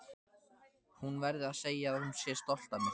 Hún verði að segja að hún sé stolt af mér.